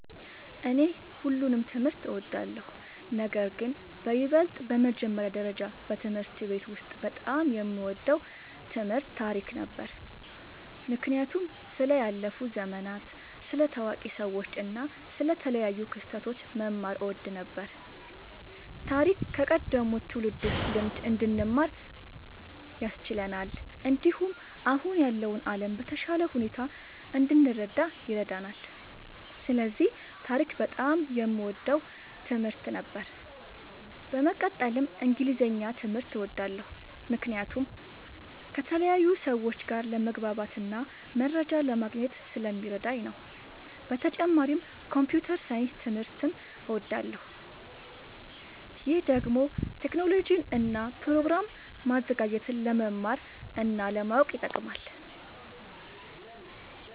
እኔ ሁሉንም ትምህርት እወዳለሁ፤ ነገርግን በይበልጥ በመጀመሪያ ደረጃ በትምህርት ቤት ውስጥ በጣም የምወደው ትምህርት ታሪክ ነበር። ምክንያቱም ስለ ያለፉ ዘመናት፣ ስለ ታዋቂ ሰዎች እና ስለ ተለያዩ ክስተቶች መማር እወድ ነበር። ታሪክ ከቀደሙት ትውልዶች ልምድ እንድንማር ያስችለናል፣ እንዲሁም አሁን ያለውን ዓለም በተሻለ ሁኔታ እንድንረዳ ይረዳናል። ስለዚህ ታሪክ በጣም የምወደው ትምህርት ነበር። በመቀጠልም እንግሊዝኛ ትምህርት እወዳለሁ ምክንያቱም ከተለያዩ ሰዎች ጋር ለመግባባትና መረጃ ለማግኘት ስለሚረዳኝ ነዉ። በተጨማሪም ኮምፒዉተር ሳይንስ ትምህርትም እወዳለሁ። ይህ ደግሞ ቴክኖሎጂን እና ፕሮግራም ማዘጋጀትን ለመማር እና ለማወቅ ይጠቅማል።